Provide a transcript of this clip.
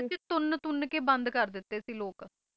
ਤੁੰਨ ਤੁੰਨ ਕੇ ਬੰਦ ਕਰ ਦਿੱਤੇ ਸੀ ਲੋਗ